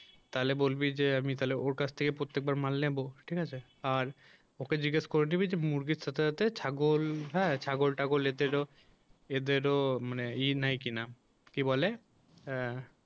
তাহলে বলবি যে আমি তাহলে ওর কাছ থেকে প্রত্যেকবার মাল নেব ঠিক আছে আর ওকে জিজ্ঞেস করে নিবি মুরগির সাথে সাথে ছাগল হ্যাঁ ছাগল টাগল এদের ও এদেরও মানে ই নাই কিনা কি বলে আ